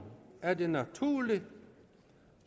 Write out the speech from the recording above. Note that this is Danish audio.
er det naturligt